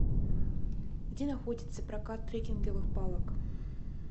где находится прокат трекинговых палок